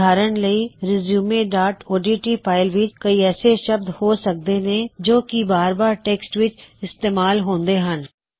ਉਦਾਹਰਣ ਲਈ resume dot O D T resumeਓਡਟ ਫਾਇਲ ਵਿੱਚ ਕਈ ਐਸੇ ਸ਼ਬਦ ਹੋ ਸਕਦੇ ਨੇ ਜੋ ਕੀ ਬਾਰ ਬਾਰ ਟੈਕ੍ਸਟ ਵਿੱਚ ਇਸਤੇਮਾਲ ਹੂੰਦੇ ਹੋਣ